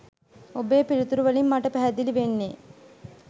ඔබේ පිළිතුරු වලින් මට පැහැදිලි වෙන්නේ